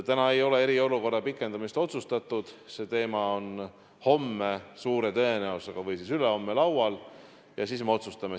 Täna ei ole eriolukorra pikendamist otsustatud, see teema on suure tõenäosusega homme või ülehomme laual ja siis me otsustame.